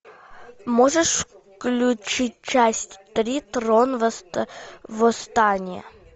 можешь включить часть три трон восстания